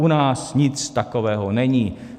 U nás nic takového není.